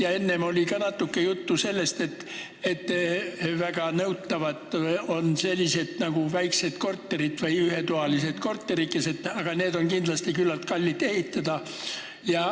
Ja enne oli natuke juttu ka sellest, et väga nõutavad on sellised väiksed korterid või ühetoalised korterikesed, aga neid on kindlasti küllaltki kallis ehitada.